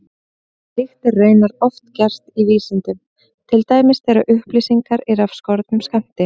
Slíkt er raunar oft gert í vísindum, til dæmis þegar upplýsingar eru af skornum skammti.